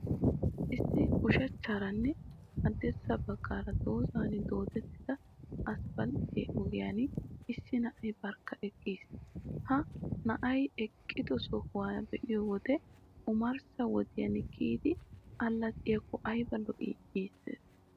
Issi ushachchaaranne haddirssa baggaara dozan doodettida asppaltte ogiyan issi na'ay barkka eqqiis. Ha na'ay eqqido sohuwa be'iyo wode, omarssa wodiyan kiyidi allaxxiyakko ayba lo'ii? Giissees.